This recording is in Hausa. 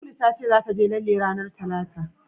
Lulu ta ce zata je lalle ranar Talata.